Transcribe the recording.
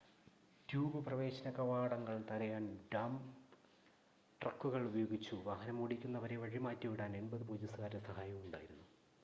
tube പ്രവേശന കവാടങ്ങൾ തടയാൻ ഡമ്പ് ട്രക്കുകൾ ഉപയോഗിച്ചു വാഹനമോടിക്കുന്നവരെ വഴിമാറ്റിവിടാൻ 80 പോലീസുകാരുടെ സഹായവും ഉണ്ടായിരുന്നു